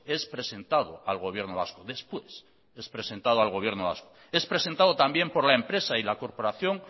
es presentado al gobierno vasco después es presentado al gobierno vasco es presentado también por la empresa y la corporación